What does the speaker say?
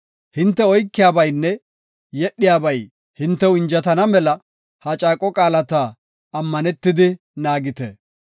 Hinte oykiyabaynne yedhiyabay hintew anjetana mela ha caaqo qaalata ammanetidi naagite.